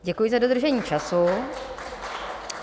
Děkuji za dodržení času.